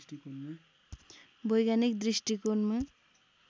वैज्ञानिक दृष्टिकोणमा